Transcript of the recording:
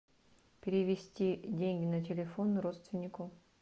перевести деньги на телефон родственнику